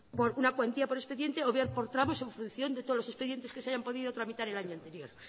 por una cuantía por expediente o bien por tramos en función de todos los expedientes que se hayan podido tramitar el año anterior